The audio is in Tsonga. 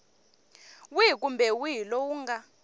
wihi kumbe wihi lowu nga